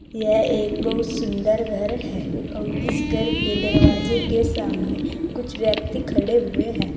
यह एक बहुत सुंदर घर है और इस घर के दरवाजे के सामने कुछ व्यक्ति खड़े हुए हैं।